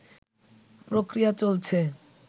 প্রক্রিয়া চলছে